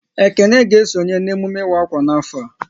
Ekene ga esonye n'emume ịwa akwa n'afọ a